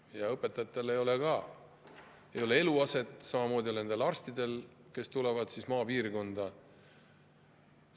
Ka õpetajatel ei ole eluaset, samamoodi nagu nendel arstidel, kes tulevad maapiirkonda.